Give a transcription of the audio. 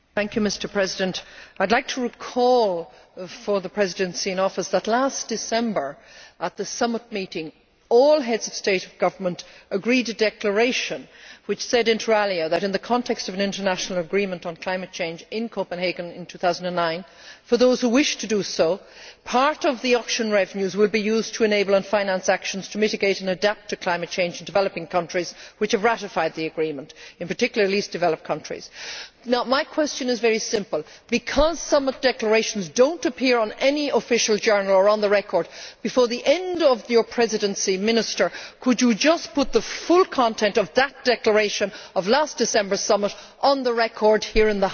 I would like to recall for the Presidency in Office that at the Summit meeting last December, all Heads of State and Government agreed to a declaration which stated, that, in the context of an international agreement on climate change in Copenhagen in 2009, for those who wished to do so, part of the auction revenues would be used to enable and finance actions to mitigate and adapt to climate change in developing countries which have ratified the agreement, in particular, the least developed countries. My question is very simple. Because Summit declarations do not appear in any Official Journal or on the record, before the end of your Presidency, Minister, could you put the full content of that declaration at last December's summit on the record here in the House?